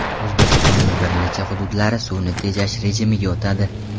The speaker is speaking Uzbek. O‘zbekistonning bir necha hududlari suvni tejash rejimiga o‘tadi.